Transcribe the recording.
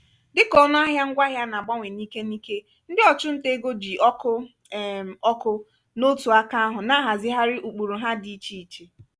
dịka ọnụ ahịa ngwaahịa na-agbanwe n'ike n'ike ndị ọchụnta ego ji ọkụ um ọkụ n'otu aka ahụ na-ahazigharị ụkpụrụ ha dị ichè ichè.